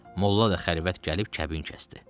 Mollla da xəlvət gəlib kəbin kəsdi.